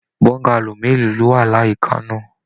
Bọ́ngálò mélòó lọ wá l'àyíká náà?